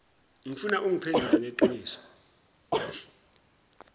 ngifuna ungiphendule ngeqiniso